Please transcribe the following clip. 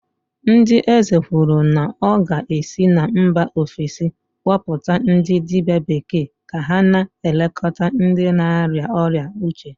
ndị eze kwuru na ọ ga-esi na mba ofesi kpọpụta ndị dibia bekee ka ha na-elekọta ndị na-arịa ọrịa uche